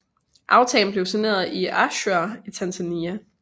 Aftalen blev signeret i Arusha i Tanzania